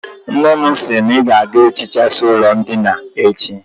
Nne m sI na I ga-ehichasi ulo ndina a echi